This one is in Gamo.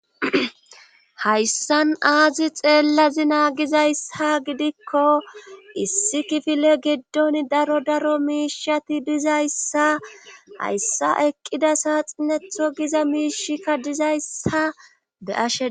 Hayssan aazi xeellazi naagizayssa gidikko issi kifile giddon daro daro miishati dizayssa hayssa eqqida saaxinetho giza miishikka dizayssa be7ashe..